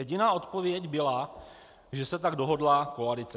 Jediná odpověď byla, že se tak dohodla koalice.